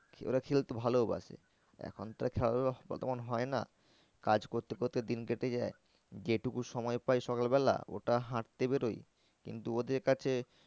ওরা খেলতে ভালোও বাসে। এখন তো আর খেলাধুলো অতক্ষণ হয় না কাজ করতে করতে দিন কেটে যায়। যে টুকু সময় পাই সকাল বেলা ওটা হাঁটতে বেরোই কিন্তু ওদের কাছে